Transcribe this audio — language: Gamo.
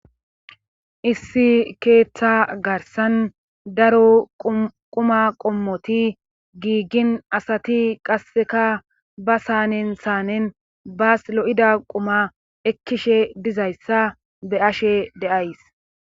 Issi keeththa garsan daro quma qommoti giiggin asati qasseka ba saanen saanen baas lo'ida quma ekkishe dizayssa be ashe deays.